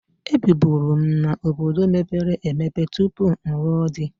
Ebiburu m n'obodo mepere emepe tupu m lụọ di.